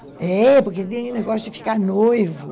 É, porque tem negócio de ficar noivo.